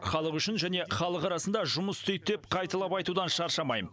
халық үшін және халық арасында жұмыс істейді деп қайталап айтудан шаршамайм